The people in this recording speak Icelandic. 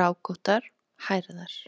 rákóttar, hærðar.